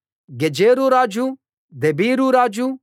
Gezer రాజు Debir రాజు